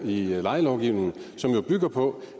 lejelovgivningen som jo bygger på